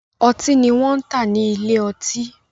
Ọtí ni wọ́n ń tà ní ilé ọtí.